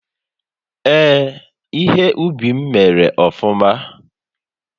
Ee, ihe ubi m mèrè ofụma